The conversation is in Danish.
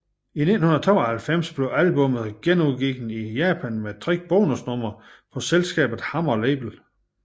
I 1992 blev albummet genudgivet i Japan med tre bonus numre på selskabet Hammer Label